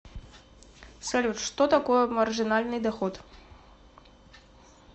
салют что такое маржинальный доход